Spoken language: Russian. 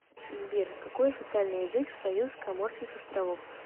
сбер какой официальный язык в союз коморских островов